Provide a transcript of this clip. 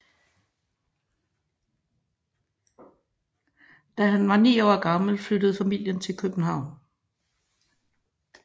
Da han var ni år gammel flyttede familien til København